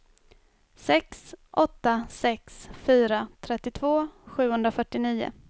sex åtta sex fyra trettiotvå sjuhundrafyrtionio